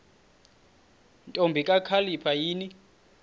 ntombi kakhalipha yini